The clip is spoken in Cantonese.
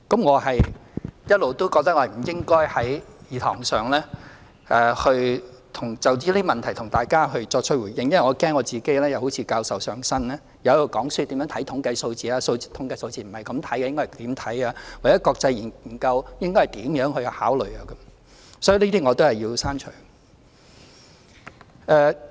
我一直覺得我不應該在議事堂上就這些問題向大家作出回應，因為我怕自己會好像教授"上身"，在這裏講課，教市民大眾如何看統計數字，說統計數字不是這樣看，應該怎樣看，又或國際研究應該如何考量等。